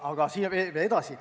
Aga edasi.